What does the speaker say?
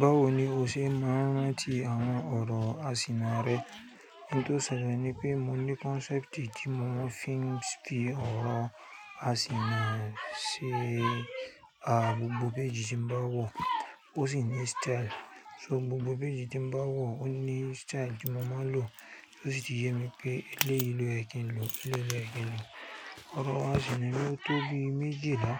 Báwo ni o ṣe máa ń rántí àwọn ọ̀rọ̀ àsìnà rẹ? Ohun tó ṣẹlẹ̀ ni pé mo ní concept tí mo fẹ́ fi ọ̀rọ̀ àsìnà ṣe. À, gbogbo page tí mo bá wọ̀ ó sì ní style. So gbogbo page tí mo bá wọ̀ ó ní style tí mo máa ń lò, tí ó sì ti yẹ mi pé eléyìí ló yẹ kí n lò, eléyìí ló yẹ kí n lò. Ọ̀rọ̀ àsìnà mi tó bí méjìlá,